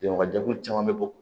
Denwajɛkulu caman bɛ bɔ